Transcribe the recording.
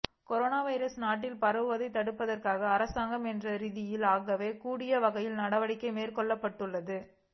corona virus நாட்டில் பரவுவதை தடுப்பதற்கு அரசாங்கம் என்ற ரீதியில் ஆக கூடிய வகையில் நடவடிக்கை மேற்கொள்ளப்பட்டுள்ளது